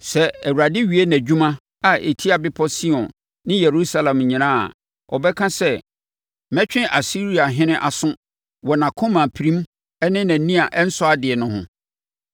Sɛ Awurade wie nʼadwuma a ɛtia Bepɔ Sion ne Yerusalem nyinaa a, ɔbɛka sɛ, “Mɛtwe Asiriahene aso wɔ nʼakoma pirim ne nʼani a ɛnsɔ adeɛ no ho.